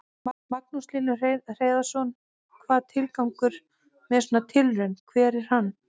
Magnús Hlynur Hreiðarsson: Hvað, tilgangur með svona tilraun, hver er hann?